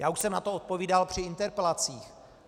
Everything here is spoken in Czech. Já už jsem na to odpovídal při interpelacích.